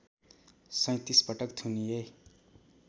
३७ पटक थुनिए